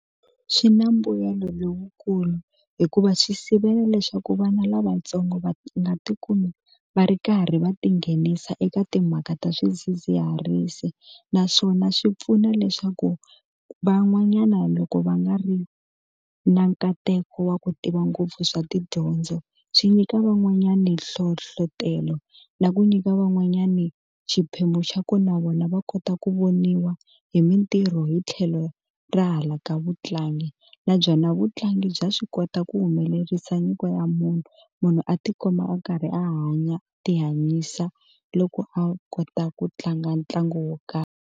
Swi na mbuyelo lowukulu hikuva swi sivela leswaku vana lavatsongo va nga tikumi va ri karhi va tinghenisa eka timhaka ta swidzidziharisi naswona swi pfuna leswaku van'wanyana loko va nga ri na nkateko wa ku tiva ngopfu swa tidyondzo swi nyika van'wanyani nhlohlotelo na ku nyika van'wanyani xiphemu xa ku na vona va kota ku voniwa hi mintirho hi tlhelo ra hala ka vutlangi na byona vutlangi bya swi kota ku humelerisa nyiko ya munhu munhu a tikuma a karhi a hanya a ti hanyisa loko a kota ku tlanga ntlangu wo karhi.